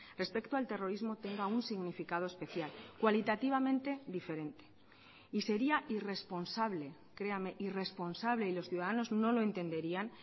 respecto al terrorismo tenga un significado especial cualitativamente diferente y sería irresponsable créame irresponsable y los ciudadanos no lo entenderían